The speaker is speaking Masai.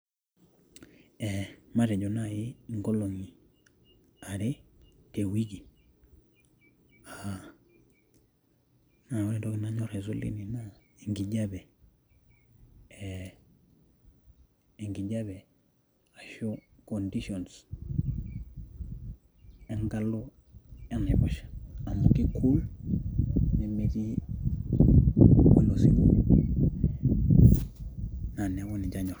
ee matejo naaji inkolongi are te wiki, aa naa ore entoki nanyor aisul teina naa enkijiape,,ashu conditions enkalo enaiposha, amu ki cool, ore ilo siwuo, naa neeku ninche anyor.